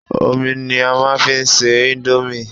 Omi ni a máa fi ń ṣe íńdómì.